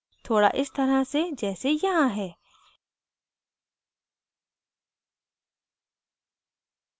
थोड़ इस तरह से जैसे यहाँ है